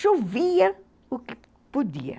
Chovia o que podia.